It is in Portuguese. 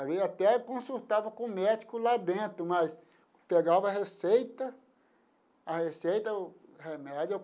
Até consultava com o médico lá dentro, mas pegava a receita, a receita, o remédio.